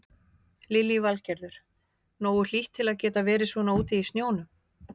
Lillý Valgerður: Nógu hlýtt til að geta verið svona úti í sjónum?